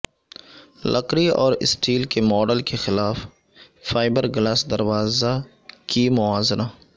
لکڑی اور اسٹیل کے ماڈل کے خلاف فائبرگلاس دروازہ کی موازنہ